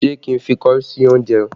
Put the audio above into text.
Ṣé kí n fi kọrí sí oúnjẹ?